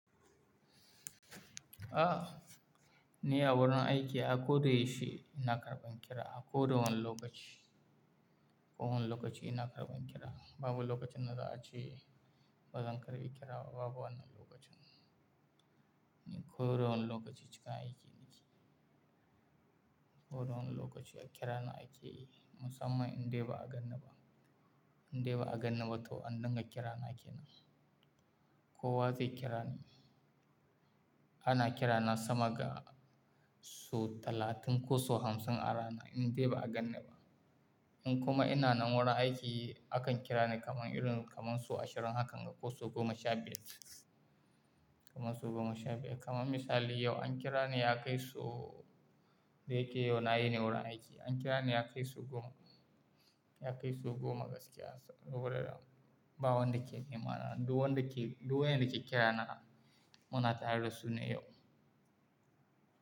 Ah! Ni a wurin aiki a kodayaushe ina karɓan kira, a koda wane lokaci. Ko wane lokaci ina karɓan kira. Babu lokacin da za a ce bazan karɓi kira ba, babu wannan lokacin. Ni koda wane lokaci cikin aiki nake. Ƙoda wane lokaci a kira ni ake yi musamman in dai ba a ganni ba. In dai ba a ganni ba toh an dinga kira na kenan. Kowa zai kira ni, Ana kira na sama ga sau talatin ko sau hamsin a rana in dai ba a ganni ba. In kuma ina nan wurin aiki, akan kira ni kaman irin kamar sau ashirin hakan ga ko sau goma sha biyar. Kaman sau goma sha biyar. Kaman misali yau an kira ni ya kai sau, da yake yau na wuni wurin aiki. An kira ni ya kai sau goma, ya kai sau goma gaskiya. Saboda babu wanda ke nema na. Duk wanda ke duk waƴanda ke kira na muna tare da su ne yau.